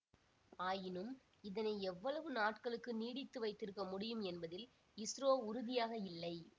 ஆயினும் இதனை எவ்வளவு நாட்களுக்கு நீடித்து வைத்திருக்க முடியும் என்பதில் இஸ்ரோ உறுதியாக இல்லை